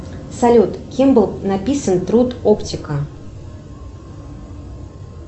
салют кем был написан труд оптика